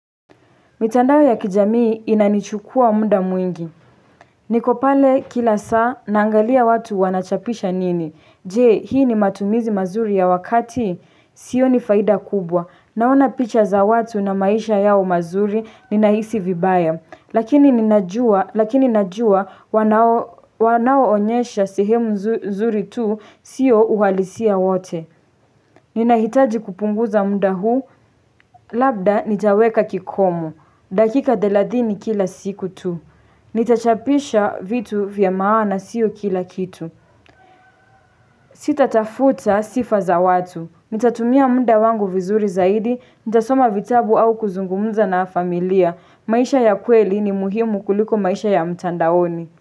Mitandao ya kijamii inanichukua muda mwingi. Niko pale kila saa naangalia watu wanachapisha nini. Je, hii ni matumizi mazuri ya wakati. Sioni faida kubwa. Naona picha za watu na maisha yao mazuri ninahisi vibaya. Lakini ninajua wanaonyesha sehemu nzuri tu sio uhalisia wote. Ninahitaji kupunguza muda huu. Labda nitaweka kikomo. Dakika thelathini kila siku tu. Nitachapisha vitu vya maana siyo kila kitu. Sitatafuta sifa za watu. Nitatumia muda wangu vizuri zaidi. Nitasoma vitabu au kuzungumza na familia. Maisha ya kweli ni muhimu kuliko maisha ya mtandaoni.